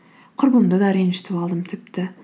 құрбымды да ренжітіп алдым тіпті